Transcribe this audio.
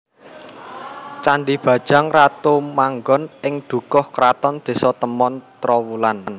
Candhi Bajang Ratu manggon ing Dukuh Kraton Désa Temon Trowulan